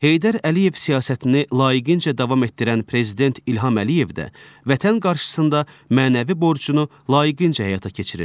Heydər Əliyev siyasətini layiqincə davam etdirən prezident İlham Əliyev də vətən qarşısında mənəvi borcunu layiqincə həyata keçirir.